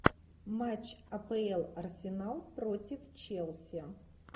матч апл арсенал против челси